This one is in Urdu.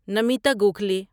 نمیتا گوکھلی